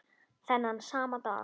Þennan sama dag